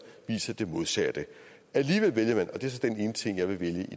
viser det modsatte alligevel vælger man og det er så den ene ting jeg vil vælge